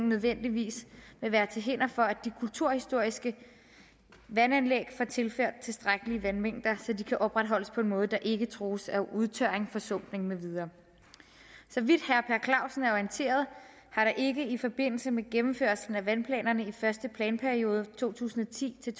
nødvendigvis vil være til hinder for at de kulturhistoriske vandanlæg får tilført tilstrækkelige vandmængder så de kan opretholdes på en måde der ikke trues af udtørring forsumpning med videre så vidt herre per clausen er orienteret har der ikke i forbindelse med gennemførelsen af vandplanerne i første planperiode to tusind og ti til